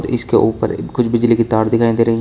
इसके ऊपर कुछ बिजली की तार दिखाई दे रही है।